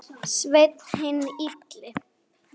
Sveinn hinn illi.